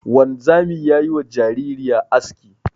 Wanzami ya yi wa jaririya aski.